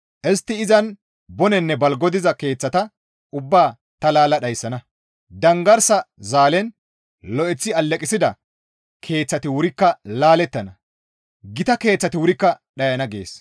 Istti izan bonenne balgo diza keeththata ubbaa ta laalla dhayssana; danggarsa zaalen lo7eththi alleqissida keeththati wurikka laalettana; gita keeththati wurikka dhayana» gees.